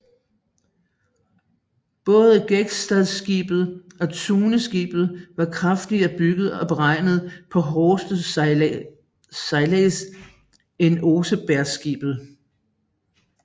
Både Gokstadskibet og Tuneskibet var kraftigere bygget og beregnet på hårdere sejlads end Osebergskibet